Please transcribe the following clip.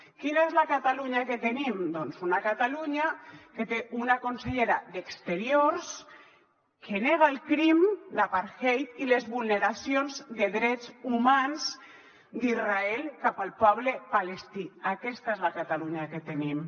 quina és la catalunya que tenim una catalunya que té una consellera d’exteriors que nega el crim d’apartheid i les vulneracions de drets humans d’israel cap al poble palestí aquesta és la catalunya que tenim